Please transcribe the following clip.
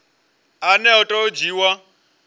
ane a tea u dzhiiwa